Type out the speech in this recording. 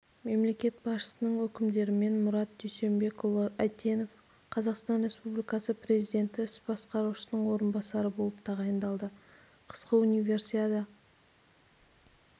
мемлекет басшысының өкімдерімен мұрат дүйсенбекұлы әйтенов қазақстан республикасы президенті іс басқарушысының орынбасары болып тағайындалды қысқы универсиада